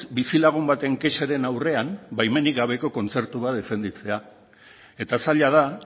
bizilagun baten kexaren aurrean baimenik gabeko kontzertu bat defendatzea eta zaila da